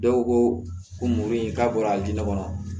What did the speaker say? Dɔw ko mori k'a bɔra a diɲɛ kɔnɔ